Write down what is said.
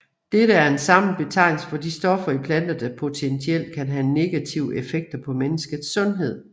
Dette er en samlet betegnelse for de stoffer i planter der potentielt kan have negative effekter på menneskers sundhed